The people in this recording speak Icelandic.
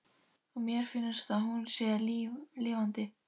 Og mér finnst að hún sé lifandi.